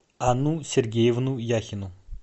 анну сергеевну яхину